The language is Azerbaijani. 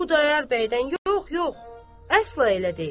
Xudayar bəydən yox, yox, əsla elə deyil.